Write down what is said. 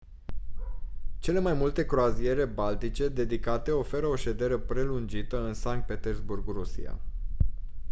cele mai multe croaziere baltice dedicate oferă o ședere prelungită în sankt petersburg rusia